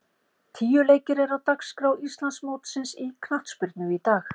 Tíu leikir eru á dagskrá Íslandsmótsins í knattspyrnu í dag.